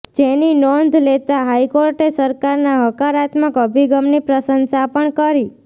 જેની નોંધ લેતા હાઇકોર્ટે સરકારના હકારાત્મક અભિગમની પ્રશંસા પણ કરી